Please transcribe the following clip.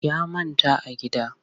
Ya manta a gida